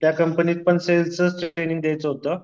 त्या कंपनीत पण सेल्सचंच ट्रेनिंग द्यायचं होतं.